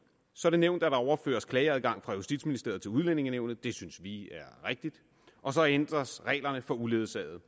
så nævnt at der overføres klageadgang fra justitsministeriet til udlændingenævnet det synes vi er rigtigt og så ændres reglerne for uledsagede